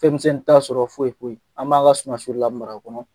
Fɛn misɛnin t'a sɔrɔ foyi foyi, an b'an la Sumasurula mara kɔnɔ.